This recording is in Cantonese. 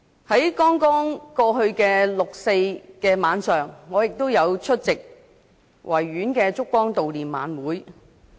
在剛過去的六四晚上，我出席了在維多利亞公園舉行的燭光悼念晚會。